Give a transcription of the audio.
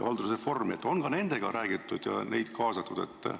Kas ka nendega on räägitud ja neid kaasatud?